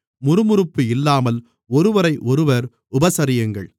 முறுமுறுப்பு இல்லாமல் ஒருவரையொருவர் உபசரியுங்கள்